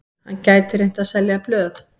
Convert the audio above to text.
Hann gæti reynt að selja blöð.